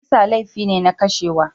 Kisa laifi ne na kishewa.